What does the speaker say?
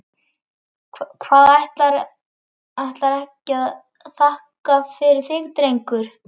Hvað, ætlarðu ekki að þakka fyrir þig drengur?